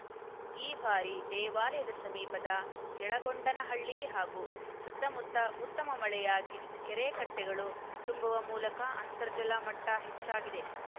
ಈ ಭಾರಿ ದೇವಾಲಯದ ಸಮೀಪದ ಯಳಗೊಂಡನಹಳ್ಳಿ ಹಾಗೂ ಸುತ್ತಮುತ್ತ ಉತ್ತಮ ಮಳೆಯಾಗಿ ಕೆರೆ ಕಟ್ಟೆಗಳೂ ತುಂಬುವ ಮೂಲಕ ಅಂತರ್ಜಲ ಮಟ್ಟಹೆಚ್ಚಾಗಿದೆ